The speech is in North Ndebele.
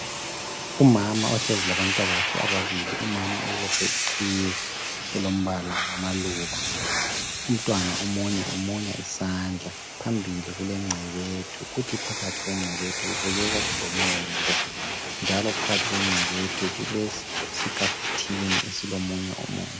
Umama ohlezi labantwabakhe ababili umama ubophe iqhiye elombala wamaluba umntwana omunye umunya isandla phambili kule ngcebethu kuthi phakathi kwengcebethu kubukeka kulomumbu njalo phakathi kwengcebethu kulesikafuthini esilomunye umumbu.